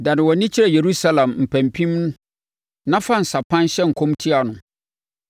Dane wʼani kyerɛ Yerusalem mpampim na fa nsa pan hyɛ nkɔm tia no.